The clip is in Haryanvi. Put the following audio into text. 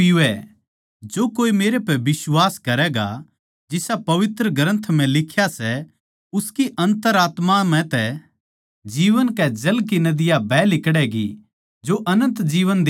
जो कोए मेरै पै बिश्वास करैगा जिसा पवित्र ग्रन्थ म्ह लिख्या सै उसकी अंतरआत्मा म्ह तै जीवन कै जल की नदियाँ बह लिकड़ैंगी जो अनन्त जिन्दगी देवै सै